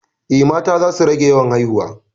Eh, mata za su rage yawan haihuwa